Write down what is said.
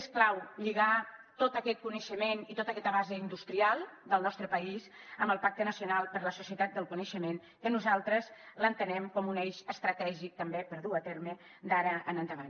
és clau lligar tot aquest coneixement i tota aquesta base industrial del nostre país amb el pacte nacional per a la societat del coneixement que nosaltres entenem com un eix estratègic també i dur lo a terme d’ara en endavant